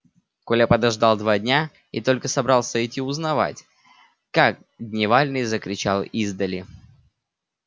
коля подождал два дня и только собрался идти узнавать как дневальный закричал издали